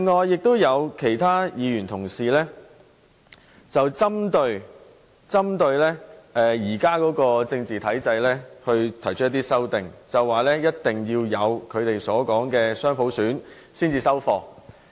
有些議員針對現時的政治體制提出修正案，表示下任行政長官一定要落實他們所說的雙普選才會收貨。